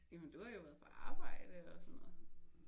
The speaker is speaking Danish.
Jamen du har jo været på arbejde og sådan noget